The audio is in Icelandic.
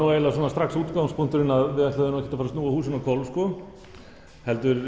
strax útgangspunktur að við ætluðum ekki að snúa húsinu á hvolf